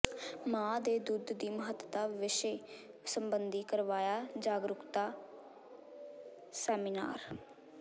ਮਾਂ ਦੇ ਦੁੱਧ ਦੀ ਮਹੱਤਤਾ ਵਿਸ਼ੇ ਸਬੰਧੀ ਕਰਵਾਇਆ ਜਾਗਰੂਕਤਾ ਸੈਮੀਨਾਰ